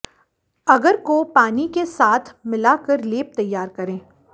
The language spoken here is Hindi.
अगर को पानी के साथ मिलाकर लेप तैयार करें